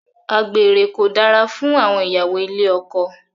Àgbèrè kò dára fún ìyàwó ilé ọkọ.